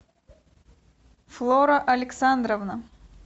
флора александровна